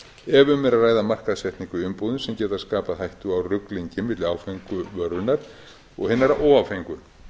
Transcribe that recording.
er að ræða markaðssetningu í umbúðum sem geta skapað hættu á ruglingi milli áfengu vörunnar og hinnar óáfengu